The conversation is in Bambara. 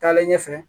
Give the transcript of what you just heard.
Taalen ɲɛfɛ